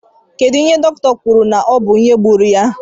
Gịnị ka dọkịta kwụrụ na ọ bu ìhè gbúrú ya?